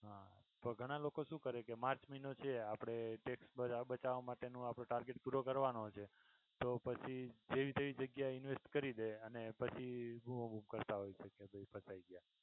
હા તો ઘણા લોકો શું કરે માર્ચ મહિનો છે આપણે tax મા બતાવા માટેનો આપનો target પૂરો કરવાનો છે તો પછી જેવી તેવી જગ્યાએ invest કરી દે અને પછી બોવ ઉકળતા હોય છે કે ભઈ ફસાઈ ગયા.